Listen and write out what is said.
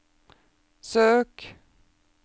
søk